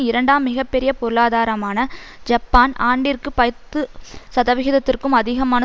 இரண்டாம் மிக பெரிய பொருளாதாரமான ஜப்பான் ஆண்டிற்கு பத்து சதவிகிதத்திற்கும் அதிகமான